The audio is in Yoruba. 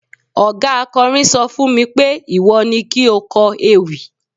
oga akọrin sọ fún mi pé, iwọ ni ki o kó ewi